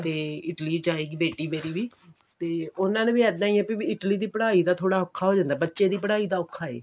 ਤੇ Italy ਜਾਏਗੀ ਬੇਟੀ ਮੇਰੀ ਵੀ ਤੇ ਉਹਨਾ ਨੂੰ ਵੀ ਇੱਦਾਂ ਏ ਕਿ Italy ਦੀ ਪੜ੍ਹਾਈ ਦਾ ਥੋੜਾ ਔਖਾ ਹੋ ਜਾਂਦਾ ਬੱਚੇ ਦੀ ਪੜ੍ਹਾਈ ਦਾ ਔਖਾ ਏ